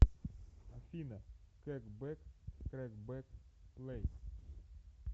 афина кэкбэк крэкбэк плэй